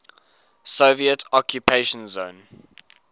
soviet occupation zone